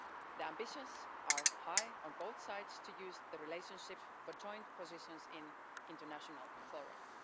The ambitions are high on both sides to use the relationship for joint positions in international fora.